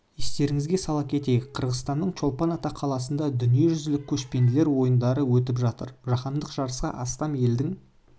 естеріңізге сала кетейік қырғызстанның чолпан ата қаласында дүниежүзілік көшпенділер ойындары өтіп жатыр жаһандық жарысқа астам елдің